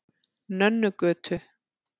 Nönnugötu